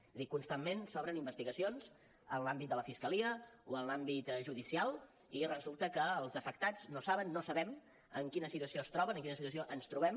és a dir constantment s’obren investigacions en l’àmbit de la fiscalia o en l’àmbit judicial i resulta que els afectats no saben no sabem en quina situació es troben en quina situació ens trobem